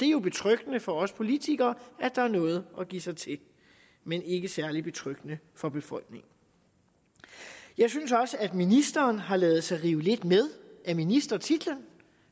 jo betryggende for os politikere at der er noget at give sig til men ikke særlig betryggende for befolkningen jeg synes også at ministeren har ladet sig rive lidt med af ministertitlen